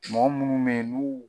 Mɔgɔ munnu be yen nun